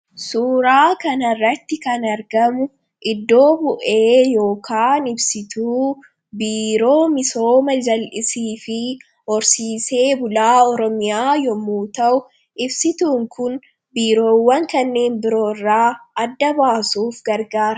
Suuraa kana irratti kan argamu, iddoo bu'ee yookaan ibsituu Biiroo Misooma jallisii fi horsiisee bulaa Oromiyaa yommuu ta'u, ibsituun kun Biiroowwan kanneen biroo irraa adda baasuuf gargaara.